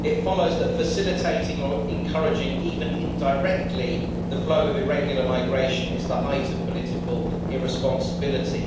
It follows that facilitating or encouraging, even indirectly, the flow of irregular migration is the height of political irresponsibility.